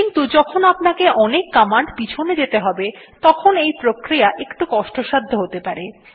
কিন্তু যখন আপনাকে অনেক কমান্ড পিছনে যেতে হবে তখন এই প্রক্রিয়া একটু কষ্টসাধ্য হতে পারে